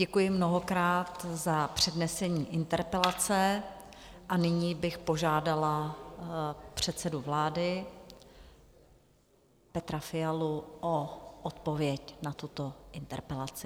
Děkuji mnohokrát za přednesení interpelace a nyní bych požádala předsedu vlády Petra Fialu o odpověď na tuto interpelaci.